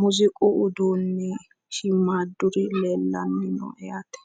muziiqu uduunnichi shiimmaadduri leellannoho yaate.